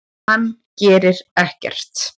Hann gerir ekkert!